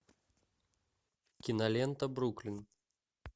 кинолента бруклин